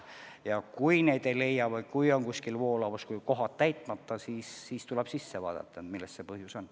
Ja kui neid ei leia või kui kuskil on suur voolavus, kohad täitmata, siis tuleb asutuse sisse vaadata, milles põhjus on.